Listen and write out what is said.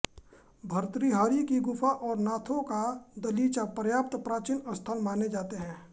भर्तृहरि की गुफा और नाथों का दलीचा पर्याप्त प्राचीन स्थल माने जाते हैं